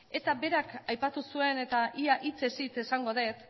eta berak aipatu zuen eta ia hitzez hitz esango dut